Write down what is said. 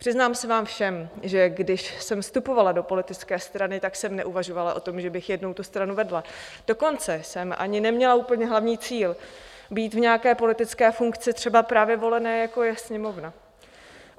Přiznám se vám všem, že když jsem vstupovala do politické strany, tak jsem neuvažovala o tom, že bych jednou tu stranu vedla, dokonce jsem ani neměla úplně hlavní cíl být v nějaké politické funkci, třeba právě volené, jako je Sněmovna.